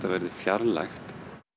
verði fjarlægt